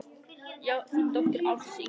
Þín dóttir, Ásdís Ingunn.